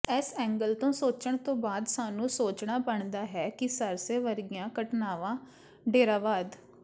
ਇਸ ਐਂਗਲ ਤੋਂ ਸੋਚਣ ਤੋਂ ਬਾਅਦ ਸਾਨੂੰ ਸੋਚਣਾ ਬਣਦਾ ਹੈ ਕਿ ਸਰਸੇ ਵਰਗੀਆਂ ਘਟਨਾਵਾ ਡੇਰਾਵਾਦ